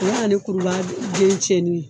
U be na ni kuruba den cinni ye.